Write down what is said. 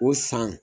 O san